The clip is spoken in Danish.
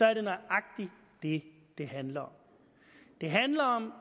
er det nøjagtig det det handler om det handler om